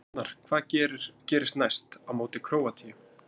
Arnar: Hvað gerist næst, á móti Króatíu?